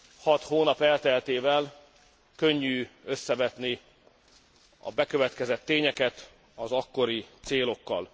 Hat hónap elteltével könnyű összevetni a bekövetkezett tényeket az akkori célokkal.